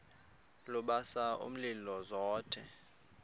lubasa umlilo zothe